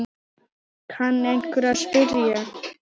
kann einhver að spyrja.